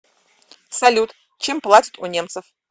салют чем платят у немцев